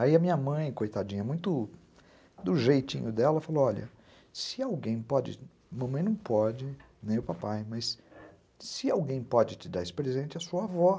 Aí a minha mãe, coitadinha, muito do jeitinho dela, falou, olha, se alguém pode, mamãe não pode, nem o papai, mas se alguém pode te dar esse presente, é a sua avó.